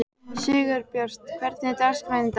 Sigurbjört, hvernig er dagskráin í dag?